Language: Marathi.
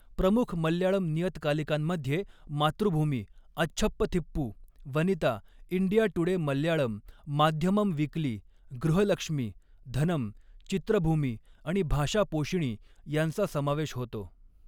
प्रमुख मल्याळम नियतकालिकांमध्ये Mathrubhumi Achchappathippu, Vanitha, India Today Malayalam, Madhyamam weekly, Grihalakshmi, Dhanam, Chithrabhumi आणि भाषापोषिणी यांचा समावेश होतो.